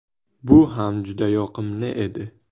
Bu ham juda yoqimli edi.